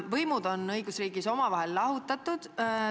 Võimud on õigusriigis üksteisest lahutatud.